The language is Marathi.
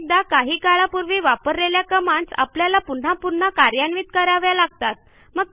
अनेकदा आपण काही काळापूर्वी वापरलेल्या कमांडस आपल्याला पुन्हा पुन्हा कार्यान्वित कराव्या लागतात